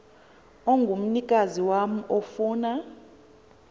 ongumnikazi wam ofuna